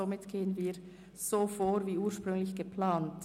Deshalb gehen wir so vor wie ursprünglich geplant.